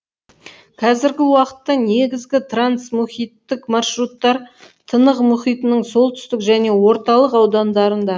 қазіргі уақытта негізгі трансмұхиттық маршруттар тынық мұхитының солтүстік және орталық аудандарында